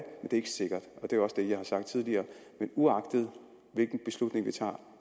er ikke sikkert og det er også det jeg har sagt tidligere men uagtet hvilken beslutning vi tager